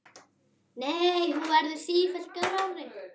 Nei, hún verður sífellt grárri.